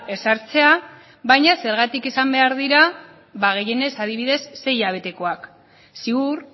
ezartzea baina zergatik izan behar dira ba gehienez adibidez sei hilabetekoak ziur